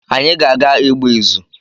Anyị ga-aga ịgba ịzụ